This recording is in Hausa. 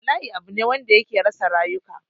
Bala'i abu ne wanda yake rasa rayuka